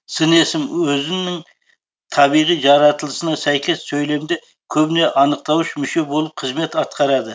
сын есім өзінің табиғи жаратылысына сәйкес сөйлемде көбіне анықтауыш мүше болып қызмет атқарады